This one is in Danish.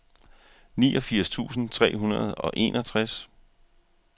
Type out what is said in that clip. niogfirs tusind tre hundrede og enogtres